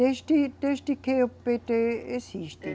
Desde, desde que o PêTê existe